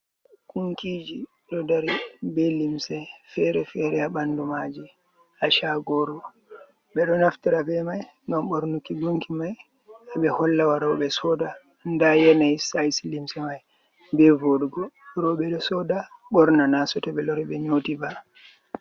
Gunkiiji ɗo dari, be limse fere fere a ɓanndu maaji, haa caagoru. Ɓe ɗo naftira be may, ngam ɓornuki gunki may, ɓe holla warooɓe sooda, ndaa yanayi sayis limse may, be vooɗugo. Rowɓe ɗo sooda ɓorna, naa sooto, ɓe loori, ɓe nyooti ba.